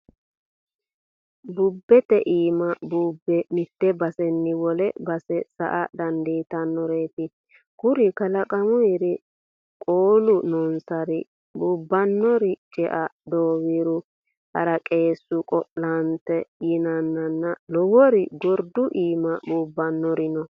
Bubete iima buube mite baseni wole base sa"a dandittanoreti kuri kalaqamuri, qolu noosari buubanori cea ,dowiru ,haraqesu, qo'lante yinanna lowori gordu iima buubbanori no.